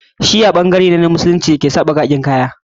Shi'a ɓangare ne na Musulunci da ki yaushe suke sa baƙaƙen kaya